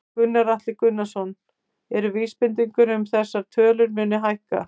Gunnar Atli Gunnarsson: Eru vísbendingar um að þessar tölur muni hækka?